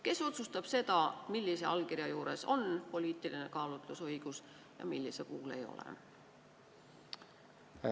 Kes otsustab, millise allkirja andmisel kasutatakse poliitilist kaalutlusõigust ja millise puhul mitte?